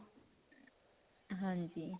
ਹਾਂਜੀ.